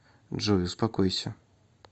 джой успокойся